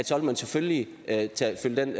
så vil man selvfølgelig tage den